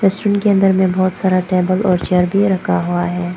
Restaurant के अंदर मे बहोत सारा टेबल और चेयर भी रखा हुआ है।